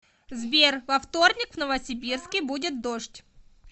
сбер во вторник в новосибирске будет дождь